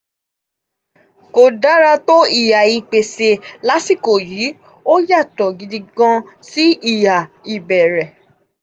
kò dára tó ìhà ìpèsè lásìkò yìí ó yàtọ̀ gidigan sí ìhà ìbéèrè.